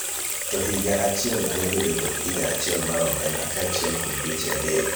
to higa achiel nyalo bedo kod higa achiel mar omenda kaachiel kod dweche adek